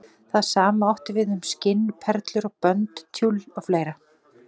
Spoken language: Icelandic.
Það sama átti við um skinn, perlur og bönd, tjull og fleira.